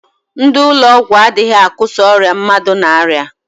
Ndị ụlọ ọgwụ adịghị akọsa ọrịa mmadụ n'aria.